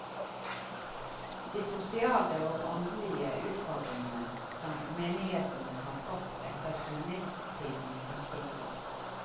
De sosiale og åndelige utfordringene som menighetene har fått etter kommunisttiden er store.